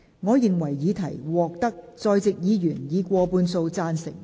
我認為議題獲得在席議員以過半數贊成。